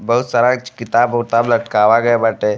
बहुत सारा किताब उताबब लटकावा गई बाटे।